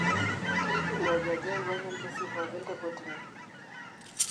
Keidim Oljaji aiwuang'ie orkesi pooki tekotini.